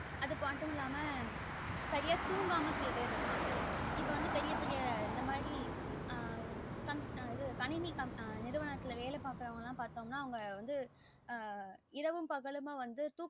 அது மட்டும் இல்லாம சரியா தூங்காம சில பேர் இருப்பாங்க இப்போ வந்து பெரிய பெரிய இந்த மாறி கணினி நிறுவனத்துல வேல பாக்ரவங்கள பாத்தோம் நா அவங்க வந்து ஆஹ் இருவும் பகலுமா வந்து தூக்க